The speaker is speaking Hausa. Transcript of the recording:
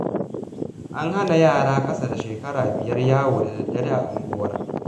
An hana yara ƴan ƙasa da shekara biyar yawo da daddare a unguwar